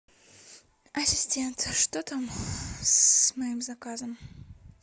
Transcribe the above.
ассистент что там с моим заказом